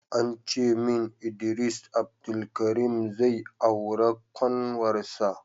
Ancemin Idris Abdulkarim zai aura kanwarsa